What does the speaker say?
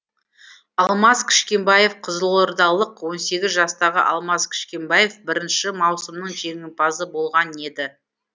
алмас кішкенбаев қызылордалық он сегіз жастағы алмас кішкенбаев бірінші маусымның жеңімпазы болған еді